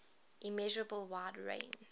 immeasurable wide range